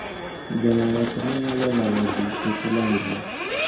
Geng'o weche manyalo lalo ji kik landre